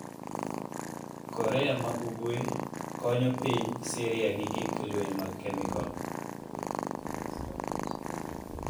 Korea ma Ugwe ‘konyo piny Siria gi gik lweny mag kemikol’.